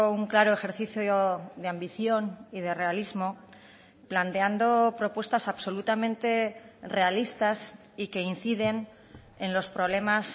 un claro ejercicio de ambición y de realismo planteando propuestas absolutamente realistas y que inciden en los problemas